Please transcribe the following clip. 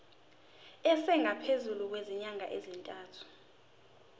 esingaphezu kwezinyanga eziyisithupha